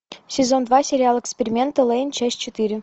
сезон два сериал эксперименты лэйн часть четыре